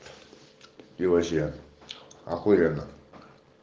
и вообще ахуенно